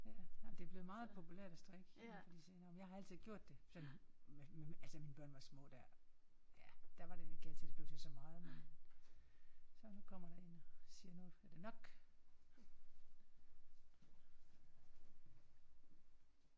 Ja ej men det er blevet meget populært at strikke her på de senere år men jeg har gjort sådan med med altså mine børn var små der ja der var det ikke altid det blev til så meget men. Så nu kommer der en og siger nu er det nok